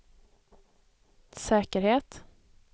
säkerhet